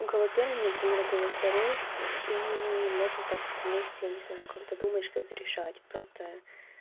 у кого первый например у кого второй и и можно так вместе я не знаю как то думать что-то решать просто